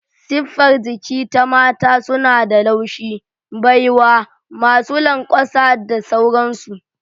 Siffar jiki ta Mata suna da laushi, baiwa, masu lanƙwasa da sauransu.